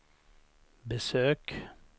besök